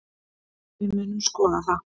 Við munum skoða það.